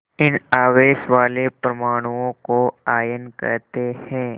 इन आवेश वाले परमाणुओं को आयन कहते हैं